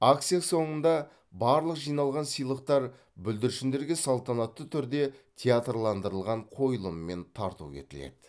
акция соныңда барлық жиналған сыйлықтар бүлдіршіндерге салтанатты түрде театрландырылған қойылыммен тарту етіледі